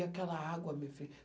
E aquela água, minha filha.